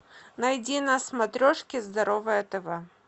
найди на смотрешке здоровое тв